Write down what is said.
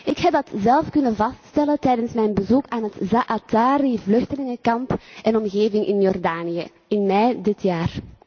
Ik heb dat zelf kunnen vaststellen tijdens mijn bezoek aan het Zaatari vluchtelingenkamp en omgeving in Jordanië in mei dit jaar.